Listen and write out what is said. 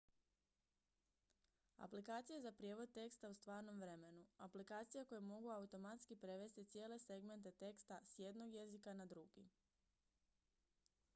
aplikacije za prijevod teksta u stvarnom vremenu aplikacije koje mogu automatski prevesti cijele segmente teksta s jednog jezika na drugi